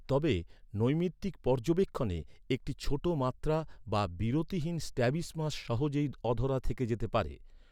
তবে, নৈমিত্তিক পর্যবেক্ষণে, একটি ছোট মাত্রা বা বিরতিহীন স্ট্র্যাবিসমাস সহজেই অধরা থেকে যেতে পারে।